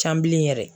Can bilen yɛrɛ